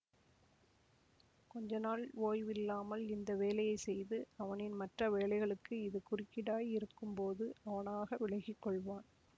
கொஞ்ச நாள் ஓய்வில்லாமல் இந்த வேலையை செய்து அவனின் மற்ற வேலைகளுக்கு இது குறுக்கீடாய் இருக்கும் போது அவனாக விலகி கொள்வான்